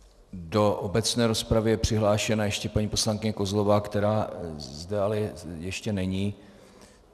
Do obecné rozpravy je přihlášena ještě paní poslankyně Kozlová, která zde ještě není.